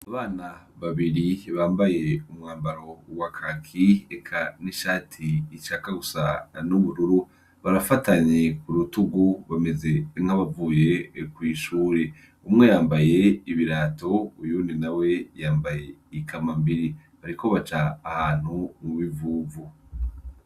Abana babiri bambaye umwambaro wa Kaki eka n'ishati ishaka gusa n'ubururu, barafatanye ku rutugu bameze nk'abavuye kw'ishure. Umwe yambaye ibirato, uwundi nawe yambaye i kambambiri. Bariko baca ahantu mu bivuvu.